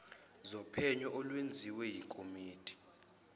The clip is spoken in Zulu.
zophenyo olwenziwe yikomidi